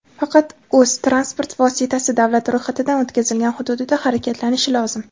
faqat o‘z (transport vositasi davlat ro‘yxatidan o‘tkazilgan) hududida harakatlanishi lozim.